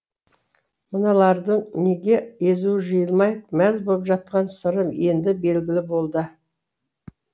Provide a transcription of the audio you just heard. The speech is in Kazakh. мыналардың неге езуі жиылмай мәз боп жатқан сыры енді белгілі болды